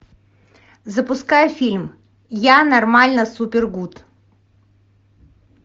запускай фильм я нормально супер гуд